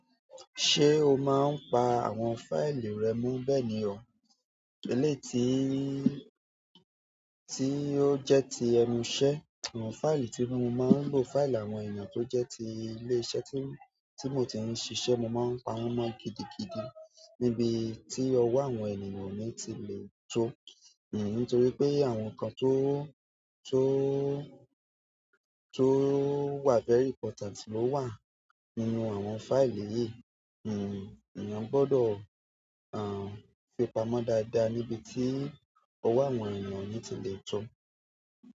Ṣé o máa ń pa àwọn fáìlì rẹ mo, bẹ́ẹ̀ ni ọ̀? Eléyii tìí tí ó jẹ́ ti ẹnu iṣẹ́, amo fáìlì tí mo máa ń lo, fáìlì àwọn ènìyàn tó jẹ́ ti ilé iṣẹ́ tí, ti mo ti ń ṣiṣẹ́, mo máa ń pa wọ́n mọ́ gidigidi níbi tí ọwọ́ àwọn ènìyàn o ni ti lè tó. Nítorí pé àwọn nǹkan tó, tó, tó wà very important ló wà nínú àwọn fáìlì yìí. Hmm, èèyàn gbọ́dọ̀, àń, fi pamọ́ dáadáa níbi tí ọwọ́ àwọn ènìyàn o ni ti lè tó.